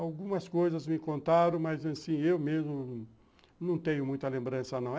Algumas coisas me contaram, mas assim, eu mesmo não tenho muita lembrança, não.